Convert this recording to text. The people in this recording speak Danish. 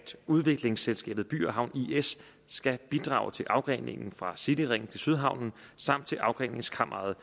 udviklingsselskabet by havn is skal bidrage til afgreningen fra cityringen til sydhavnen samt til afgreningskammeret